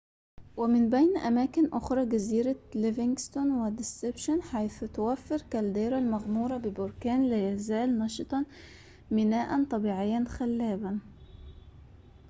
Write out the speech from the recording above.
ومن بين أماكن أخرى جزيرة ليفينغستون وديسبشن حيث توفر كالديرا المغمورة ببركان لا يزال نشطًا ميناءً طبيعيًا خلاباً